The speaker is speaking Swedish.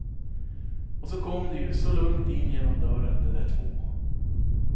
Och så kom de ju så lugnt in genom dörren de där två.